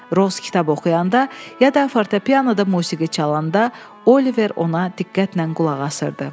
Roz kitab oxuyanda ya da fortopianoda musiqi çalanda Oliver ona diqqətlə qulaq asırdı.